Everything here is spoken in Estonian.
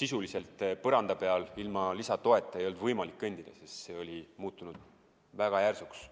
sisuliselt põranda peal ilma lisatoeta ei olnud võimalik kõndida – see oli muutunud väga järsuks.